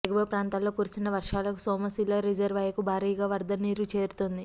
ఎగువ ప్రాంతాల్లో కురిసిన వర్షాలకు సోమశిల రిజర్వాయరుకు భారీగా వరదనీరు చేరుతోంది